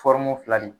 fila ni